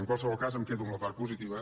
en qualsevol cas em quedo amb la part positiva